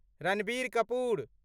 Ranbir Kapoor